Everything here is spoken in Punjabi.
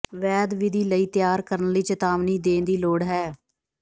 ਵੈਦ ਵਿਧੀ ਲਈ ਤਿਆਰ ਕਰਨ ਲਈ ਚੇਤਾਵਨੀ ਦੇਣ ਦੀ ਲੋੜ ਹੈ